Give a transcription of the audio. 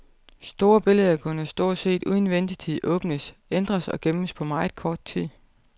Store billeder kunne stort set uden ventetid åbnes, ændres og gemmes på meget kort tid.